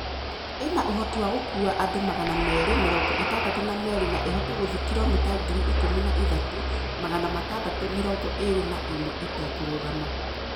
Ina uhoti wa gũkuua andũ magana meerĩ mĩrongo ĩtandatũ na merĩ na ĩhote gũthiĩ kilomita ngiri ikũmi na ithatũ, magana matandatũ mĩrongo ĩĩrĩ na ĩmwe ĩtekũrũgama.